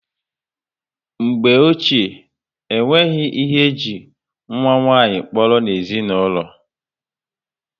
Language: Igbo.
Mgbe ochie, o nweghị ihe eji nwa nwanyị kpọrọ n'ezinaulo